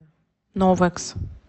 новэкс